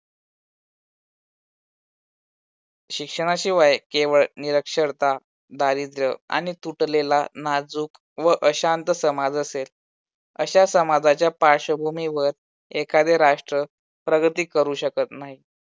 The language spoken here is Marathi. शिक्षणाशिवाय केवळ निरक्षरता दारिद्र्य आणि तुटलेला नाजूक व अशांत समाज असेल. अशा समाजाच्या पार्श्वभूमीवर एखादे राष्ट्र प्रगती करू शकत नाही.